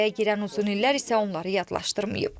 Araya girən uzun illər isə onları yadlaşdırmayıb.